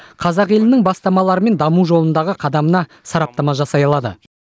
қазақ елінің бастамалары мен даму жолындағы қадамына сараптама жасай алады